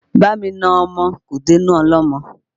Bá mi na ọmọ mi kò dé inú ọlọ́mọ